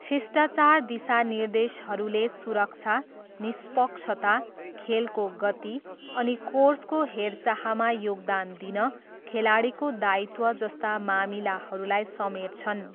शिष्टाचार दिशानिर्देशहरूले सुरक्षा, निष्पक्षता, खेलको गति, अनि कोर्सको हेरचाहमा योगदान दिन खेलाडीको दायित्व जस्ता मामिलाहरूलाई समेट्छन्।